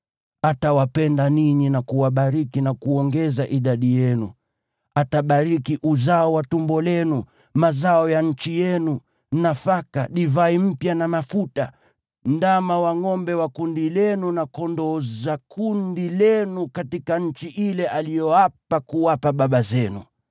Atawapenda ninyi na kuwabariki na kuongeza idadi yenu. Atabariki uzao wa tumbo lenu, mazao ya nchi yenu, nafaka, divai mpya na mafuta, ndama za ngʼombe wa makundi yenu, na kondoo za makundi yenu katika nchi ile aliyoapa kuwapa baba zenu.